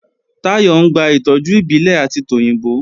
Táyọ̀ ń gba ìtọ́jú ìbílẹ̀ àti tòyìnbó